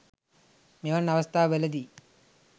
මෙවන් අවස්ථාවල දී